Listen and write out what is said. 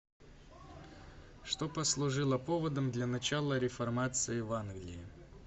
что послужило поводом для начала реформации в англии